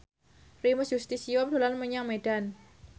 Primus Yustisio dolan menyang Medan